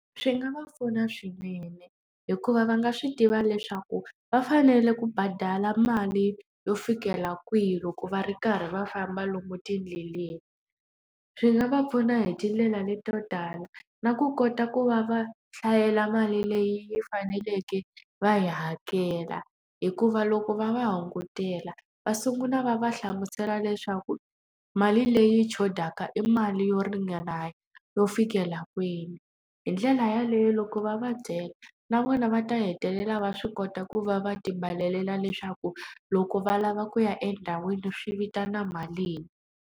Swi nga va pfuna swinene, hikuva va nga swi tiva leswaku va fanele ku badala mali yo fikela kwihi loko va ri karhi va famba lomu tindleleni. Swi nga va pfuna hi tindlela leto tala, na ku kota ku va va hlayela mali leyi yi faneleke va yi hakela. Hikuva loko va va hungutela va sungula va va hlamusela leswaku mali leyi xotaka ka i mali yo ringana yo fikela kwini. Hi ndlela yaleyo loko va va byela, na vona va ta hetelela va swi kota ku va va leswaku loko va lava ku ya endhawini swi vitana malini.